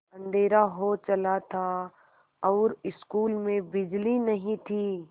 अँधेरा हो चला था और स्कूल में बिजली नहीं थी